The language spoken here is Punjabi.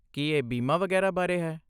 ਕੀ ਇਹ ਬੀਮਾ ਵਗੈਰਾ ਬਾਰੇ ਹੈ?